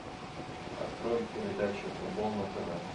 открой передачу футбол на тв